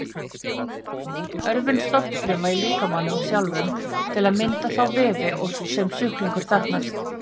Örvun stofnfruma í líkamanum sjálfum til að mynda þá vefi sem sjúklingur þarfnast.